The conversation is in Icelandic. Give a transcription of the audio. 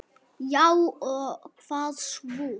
Já og hvað svo!